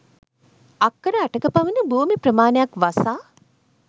අක්කර 8 ක පමණ භූමි ප්‍රමාණයක් වසා